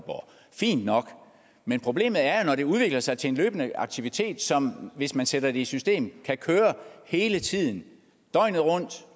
fint nok men problemet er når det udvikler sig til en løbende aktivitet som hvis man sætter det i system kan køre hele tiden døgnet rundt